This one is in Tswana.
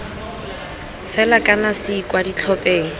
fela kana c kwa ditlhopheng